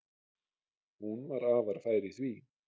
Hún var afar fær í því.